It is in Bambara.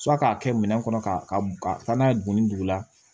k'a kɛ minɛn kɔnɔ k'a ka taa n'a ye bɔnni dugu la